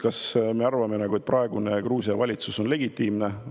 Kas me arvame, et praegune Gruusia valitsus on legitiimne?